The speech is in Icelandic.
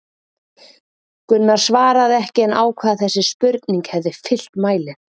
Gunnar svaraði ekki en ákvað að þessi spurning hefði fyllt mælinn.